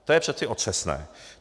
To je přeci otřesné.